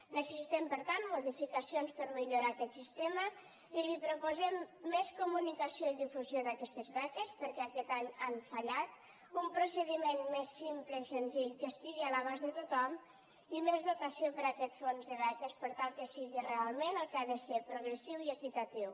necessitem per tant modificacions per millorar aquest sistema i li proposem més comunicació i difusió d’aquestes beques perquè aquest any han fallat un procediment més simple i senzill que estigui a l’abast de tothom i més dotació per a aquest fons de beques per tal que sigui realment el que ha de ser progressiu i equitatiu